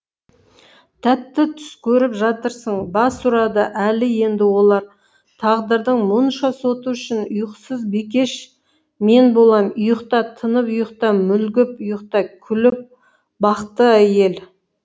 тәтті түс көріп жатырсың бас ұрады әлі енді олар тағдырдың мұнша соты үшін ұйқысыз бикеш мен болам ұйықта тынып ұйықта мүлгіп ұйықта күліп бақты әйел